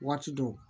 Waati dɔw